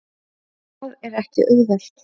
Og það er ekki auðvelt.